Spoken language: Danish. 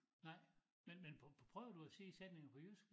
Nej men men prøvede du at sige sætninger på jysk?